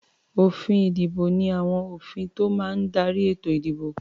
Òfin-ìdìbò ní àwọn òfin tó máa ń darí ètò-ìdìbò.